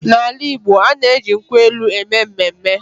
N’ala Igbo, a na-eji nkwụ elụ eme mmemme.